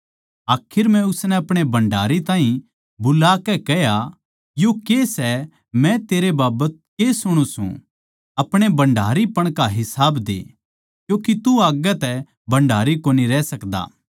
आखर म्ह उसनै अपणे भण्डारी ताहीं बुलाकै कह्या यो के सै मै तेरै बाबत के सुणु सूं अपणे भण्डारीपण का हिसाब दे क्यूँके तू आग्गै तै भण्डारी कोनी रह सकदा